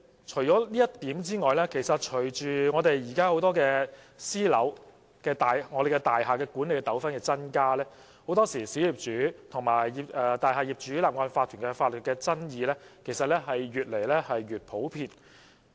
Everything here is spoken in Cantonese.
除以上之外，其實現時私樓、大廈管理的糾紛增加，很多時候，小業主和大廈業主立案法團的法律爭議其實越來越普遍。